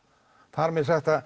þar með sagt